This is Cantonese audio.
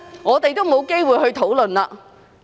我們沒有機會討論。